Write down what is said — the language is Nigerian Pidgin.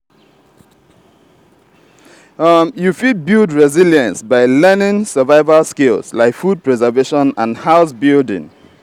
you fit build resilience by learning survival skills like food preservation and house building.